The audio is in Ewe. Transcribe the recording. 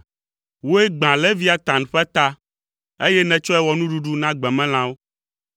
Wòe gbã Leviatan ƒe ta, eye nètsɔe wɔ nuɖuɖui na gbemelãwo.